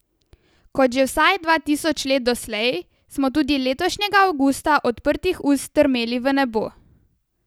Kot že vsaj dva tisoč let doslej, smo tudi letošnjega avgusta odprtih ust strmeli v nebo.